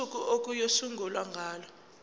usuku okuyosungulwa ngalo